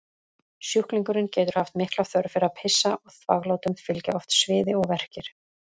Sjúklingurinn getur haft mikla þörf fyrir að pissa og þvaglátum fylgja oft sviði og verkir.